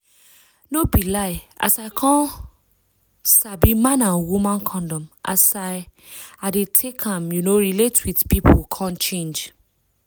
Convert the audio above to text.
no be lie as i come sabi man and woman condom as i as i dey take um relate with pipu come change